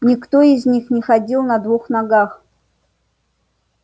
никто из них не ходил на двух ногах